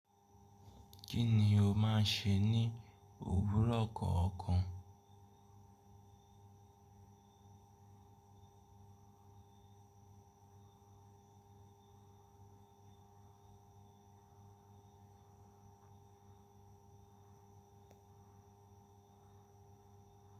Kíni o máa n ṣe ní òwúrọ̀ kọ̀ọ̀kan?